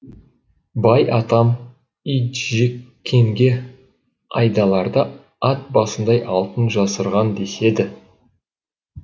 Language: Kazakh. бай атам итжеккенге айдаларда ат басындай алтын жасырған деседі